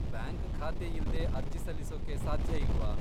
Bank ಖಾತೆಯಿಲ್ದೇ ಅರ್ಜಿ ಸಲ್ಲಿಸೋಕೆ ಸಾಧ್ಯ ಇಲ್ವಾ?